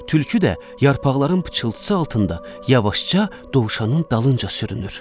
Tülkü də yarpaqların pıçıltısı altında yavaşca dovşanın dalınca sürünür.